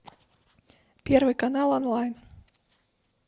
первый канал онлайн